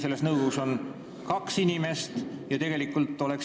Selles nõukogus on Riigikogu esindajana kaks inimest, Riigikogu liiget.